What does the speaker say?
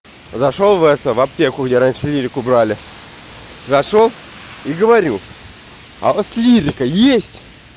зашёл в эту в аптеку где раньше лирику брали зашёл и говорю а у вас лирика есть